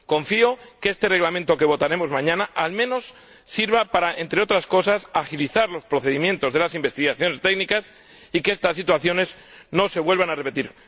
Confío en que este Reglamento que votaremos mañana sirva al menos para, entre otras cosas, agilizar los procedimientos de las investigaciones técnicas y que estas situaciones no se vuelvan a repetir.